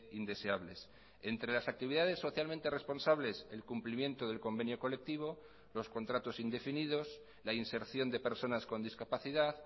indeseables entre las actividades socialmente responsables el cumplimiento del convenio colectivo los contratos indefinidos la inserción de personas con discapacidad